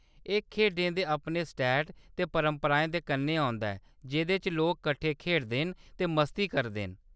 एह्‌‌ खेढें दे अपने सैट्ट ते परंपराएं दे कन्नै औंदा ऐ जेह्‌‌‌दे च लोक कट्ठे खेढदे न ते मस्ती करदे न।